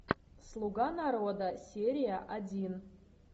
слуга народа серия один